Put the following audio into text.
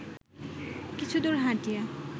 কিছুদূর হাঁটিয়া